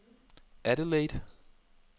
Adelaide